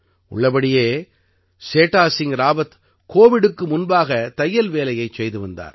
உள்ளபடியே சேடா சிங் ராவத் கோவிட்டுக்கு முன்பாக தையல் வேலையைச் செய்து வந்தார்